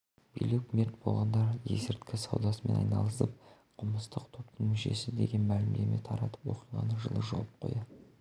билік мерт болғандар есірткі саудасымен айналысқан қылмыстық топтың мүшесі деген мәлімдеме таратып оқиғаны жылы жауып қоя